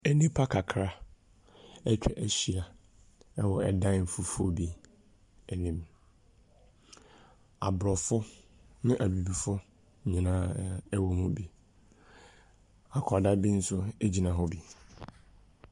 Nnipa kakra atwa ahyia wɔ dan fufo bi anim. Aborɔfo ne Abibifoɔ nyinaa wɔ mu bi. Akwadaa bi nso gyina hɔ bi.